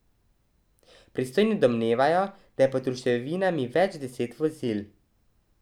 Pristojni domnevajo, da je pod ruševinami več deset vozil.